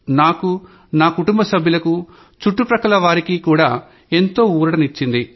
నాకూ నాకుటుంబ సభ్యులకూ చుట్టు పక్కల వారికి కూడా ఎంతో ఊరటనిచ్చింది